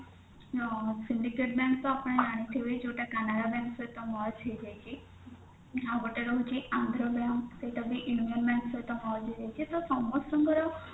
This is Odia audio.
ଅ syndicate bank ତ ଆପଣ ଜାଣିଥିବେ ଯୋଉଟା କି କାନାଡା bank ସହିତ merge ହେଇଯାଇଛି ଆଉ ଗୋଟେ ରହୁଛି ଆନ୍ଧ୍ରା bank ସେଇଟାବି ଇଣ୍ଡିଆନ bank ସହିତ merge ହେଇଯାଇଛି ତ ସମସ୍ତଙ୍କର